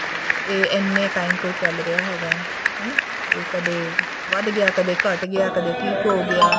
ਇਹ ਇੰਨੇ time ਤੋਂ ਚੱਲ ਰਿਹਾ ਹੈਗਾ ਹਨਾ ਤੇ ਕਦੇ ਕਦੇ ਵਧ ਗਿਆ ਕਦੇ ਘਟ ਗਿਆ ਕਦੇ ਠੀਕ ਹੋਗਿਆ